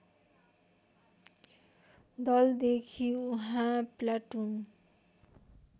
दलदेखि उहाँ प्लाटुन